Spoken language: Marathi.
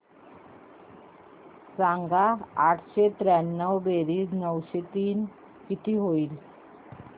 सांग आठशे त्र्याण्णव बेरीज नऊशे तीन किती होईल